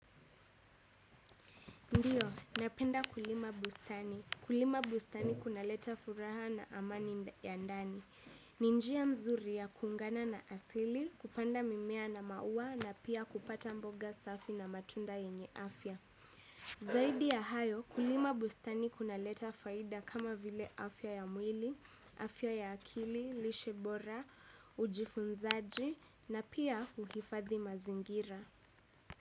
Ndiyo, napenda kulima bustani. Kulima bustani kunaleta furaha na amani ya ndani. Ni njiya mzuri ya kuungana na asili, kupanda mimea na maua na pia kupata mboga safi na matunda yenye afya. Zaidi ya hayo, kulima bustani kunaleta faida kama vile afya ya mwili, afya ya akili, lishe bora, ujifunzaji na pia uhifadhi mazingira.